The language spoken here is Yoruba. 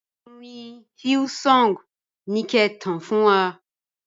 Orin Hillsong ni ki e tàn fún wa.